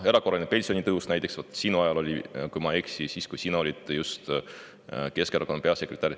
Erakorraline pensionitõus näiteks oli just sinu ajal, kui ma ei eksi, siis, kui sina olid Keskerakonna peasekretär.